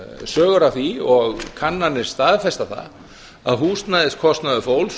sögur af því og kannanir staðfesta það að húsnæðiskostnaður fólks